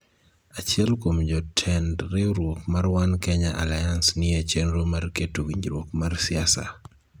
Achiel kuom jotend riwruok mar One Kenya Alliance ni e chenro mar keto winjruok mar siasa